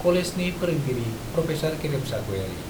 कलेजनि फोरोंगिरि प्रफेसर गेरेमसा गयारी।